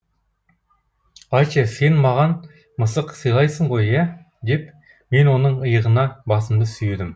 айтшы сен маған мысық сыйлайсың ғой иә деп мен оның иығына басымды сүйедім